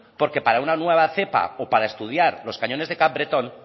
porque para una nueva cepa o para estudiar los cañones de capbreton